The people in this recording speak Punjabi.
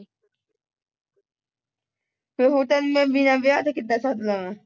ਤੇ ਹੋਰ ਤੈਨੂੰ ਮੈਂ ਬਿਨਾਂ ਵਿਆਹ ਦੇ ਕਿਦਾਆਂ ਸਾਧ ਲਾਵਾਂ